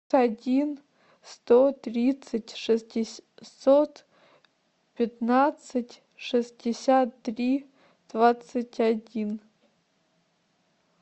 один сто тридцать шестьсот пятнадцать шестьдесят три двадцать один